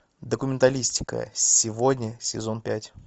документалистика сегодня сезон пять